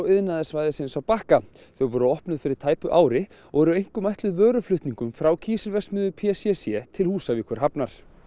iðnaðarsvæðisins á Bakka þau voru opnuð fyrir tæpu ári og eru einkum ætluð vöruflutningum frá kísilverksmiðju p c c til Húsavíkurhafnar